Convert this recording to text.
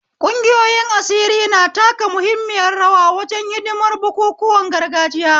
Ƙungiyoyin asiri na taka muhimmiyar rawa wajen hidimar bukukuwan gargajiya.